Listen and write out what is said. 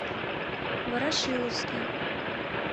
ворошиловский